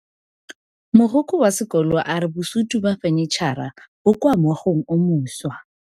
Mogokgo wa sekolo a re bosutô ba fanitšhara bo kwa moagong o mošwa.